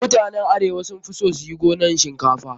Mutanen arewa sun fi son su yi gonan shinkafa.